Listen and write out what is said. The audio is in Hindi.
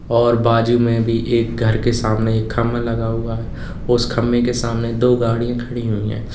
और बाजू में भी एक घर के सामने एक खंबा लगा हुआ है उस खंबे के सामने दो गाड़ियां खड़ी हुई है।